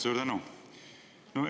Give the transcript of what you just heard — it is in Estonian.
Suur tänu!